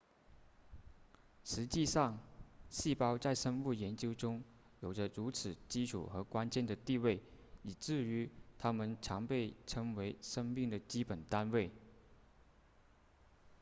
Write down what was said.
实际上细胞在生物研究中有着如此基础和关键的地位以至于它们常被称为生命的基本单位